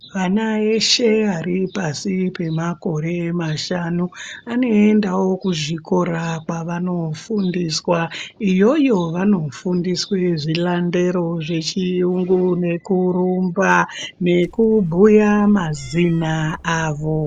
Vana veshe vari pashi pemakore mashanu anoendawo kuzvikora kwavanofundiswa. Iyoyo vanofundiswa zvilandero zvechiyungu nekurumba nekubhuya mazina avo